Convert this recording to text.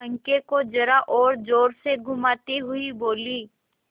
पंखे को जरा और जोर से घुमाती हुई बोली